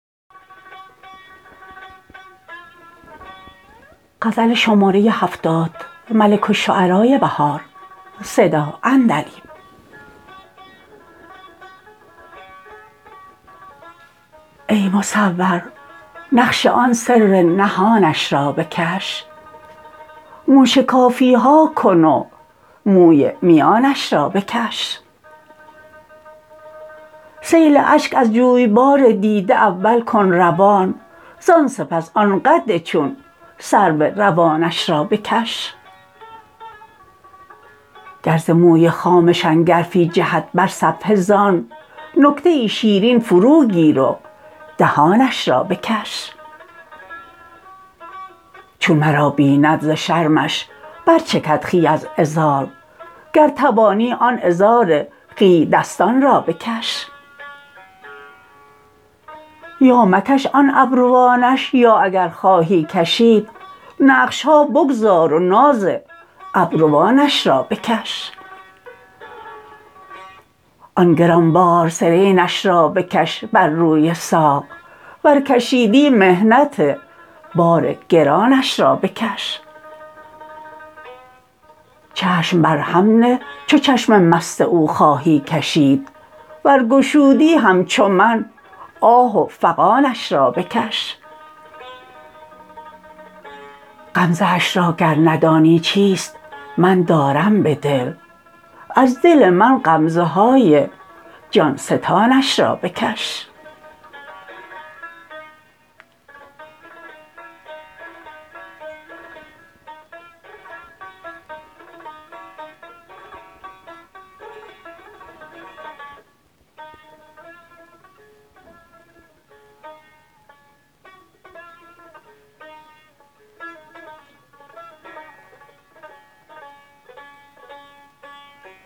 ای مصور نقش آن سر نهانش را بکش موشکافی ها کن و موی میانش را بکش سیل اشک از جویبار دیده اول کن روان زان سپس آن قد چون سرو روانش را بکش گرز موی خامه شنگرفی جهد بر صفحه زان نکته ای شیرین فروگیر و دهانش را بکش چون مرا بیند ز شرمش برچکد خوی از عذار گرتوانی آن عذار خوی دستان را بکش یا مکش آن ابروانش یا اگر خواهی کشید نقش ها بگذار و ناز ابروانش را بکش آن گرانبار سرینش را بکش بر روی ساق ور کشیدی محنت بار گرانش را بکش چشم برهم نه چو چشم مست او خواهی کشید ورگشودی همچو من آه و فغانش را بکش غمزه اش را گر ندانی چیست من دارم به دل از دل من غمزه های جان ستانش را بکش